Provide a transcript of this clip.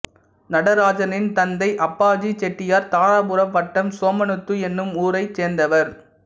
நடராஜனின் தந்தை அப்பாஜி செட்டியார் தாராபுரம் வட்டம் சோமனூத்து என்னும் ஊரைச் சேர்ந்தவர்